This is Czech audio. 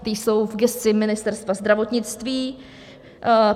Ta jsou v gesci Ministerstva zdravotnictví.